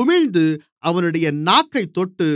உமிழ்ந்து அவனுடைய நாக்கைத் தொட்டு